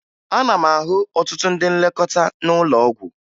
Ana m ahụ ọtụtụ ndị nlekọta n'ụlọ ọgwụ